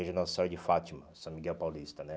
Igreja Nossa Senhora de Fátima, São Miguel Paulista, né?